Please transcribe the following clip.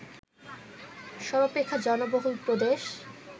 সর্বাপেক্ষা জনবহুল প্রদেশ